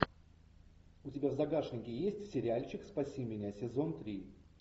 у тебя в загашнике есть сериальчик спаси меня сезон три